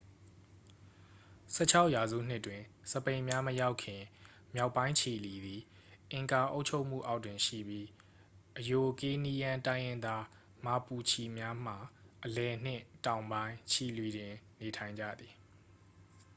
၁၆ ရာစုနှစ်တွင် စပိန်များမရောက်ခင် မြောက်ပိုင်းချီလီသည် အင်ကာအုပ်ချုပ်မှုအောက်တွင်ရှိပြီး အရိုကေးနီးယမ်း တိုင်းရင်းသား မာပူချီများမှာ အလယ်နှင့် တောင်ပိုင်း ချီလီတွင် နေထိုင်ကြသည်။